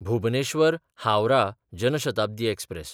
भुबनेश्वर–हावराह Jan Shatabdi express